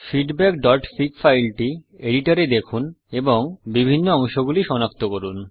feedbackফিগ ফাইলটি এডিটর এ দেখুন এবং বিভিন্ন অংশগুলি সনাক্ত করুন